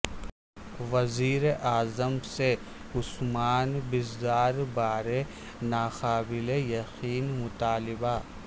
وزیر اعظم سے عثمان بزدار بارے ناقابل یقین مطالبہ